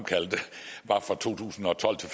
var fra to tusind og tolv til